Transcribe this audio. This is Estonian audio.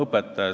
Tänan!